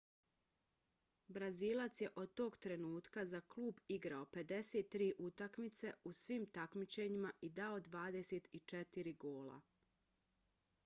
brazilac je od tog trenutka za klub igrao 53 utakmice u svim takmičenjima i dao 24 gola